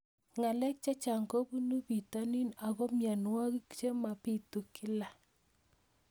Ng'alek chechang' kopunu pitonin ako mianwogik che mapitu kila